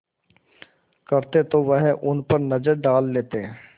करते तो वह उन पर नज़र डाल लेते